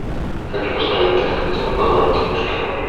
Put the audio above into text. хочу посмотреть кинокартину позвоните мышкину